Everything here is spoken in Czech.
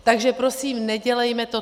Takže prosím, nedělejme to.